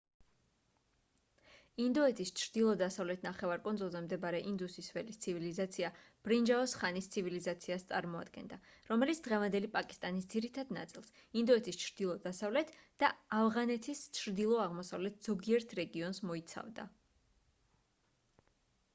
ინდოეთის ჩრდილო-დასავლეთ ნახევარკუნძულზე მდებარე ინდუსის ველის ცივილიზაცია ბრინჯაოს ხანის ცივილიზაციას წარმოადგენდა რომელიც დღევანდელი პაკისტანის ძირითად ნაწილს ინდოეთის ჩრდილო-დასავლეთ და ავღანეთის ჩრდილო-აღმოსავლეთ ზოგიერთ რეგიონს მოიცავდა